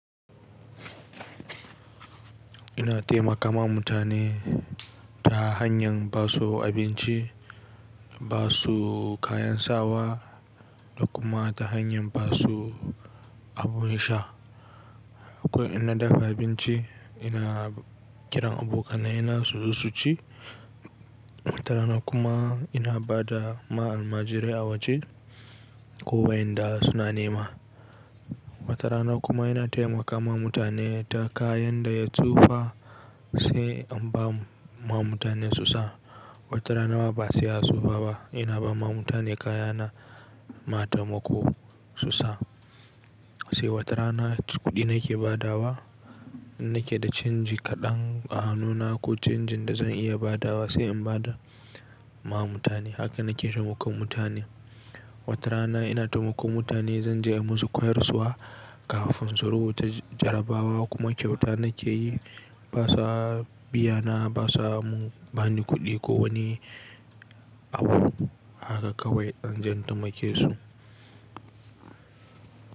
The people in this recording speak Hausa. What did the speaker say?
Ina taimakama mutane ta hanyan basu abinci, basu kayan sawa da kuma ta hanyar basu abu ya sha. Ko ina dafa abinci, ina kiran abokanai na su zo su ci. Watarana kuma ina ba da ma almajirai a waje ko wa yanda suna nema. Watarana kuma ina taimakawa mutane ta kayan da ya tsufa sai in ba ma mutane su sa. Watarana ma ba sai ya tsufa ba ina ba ma mutane kaya na ma tamako su sa. Sai watarana kuɗi nake badawa in nake da canji kaɗan a hannuna ko canjin da zan iya badawa sai in bada ma mutane. Haka nake taimakon mutane. Watarana ina taimakon mutane zan je in musu koyarsuwa kafin su rubuta jarabawa kuma kyauta nake yi. Basuwa biyana, basa ba ni kuɗi ko wani abu. Haka kawai zan jan taimake su.